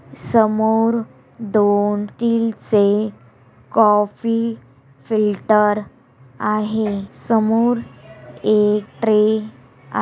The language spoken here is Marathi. समोर डॉनतील से काफी फ़िल्टर आहे। समोर समोर एक ट्रे आह--